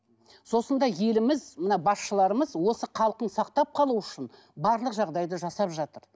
сосын да еліміз мына басшыларымыз осы халқын сақтап қалу үшін барлық жағдайды жасап жатыр